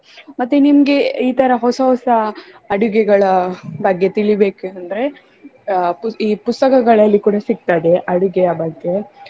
ಮತ್ತೆ ನಿಮ್ಗೆ ಈ ತರ ಹೊಸ ಹೊಸ ಅಡಿಗೆಗಳ ಬಗ್ಗೆ ತಿಳಿಬೇಕಂದ್ರೆ ಅಹ್ ಪುಸ್~ ಈ ಪುಸ್ತಕಗಳಲ್ಲಿ ಕೂಡ ಸಿಕ್ತದೆ ಅಡಿಗೆಯ ಬಗ್ಗೆ.